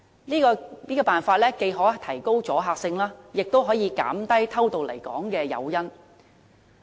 此舉既可提高阻嚇性，也可減低偷渡來港的誘因。